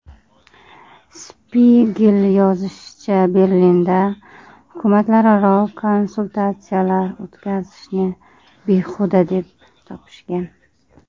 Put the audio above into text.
Spiegel yozishicha, Berlinda hukumatlararo konsultatsiyalar o‘tkazishni behuda deb topishgan.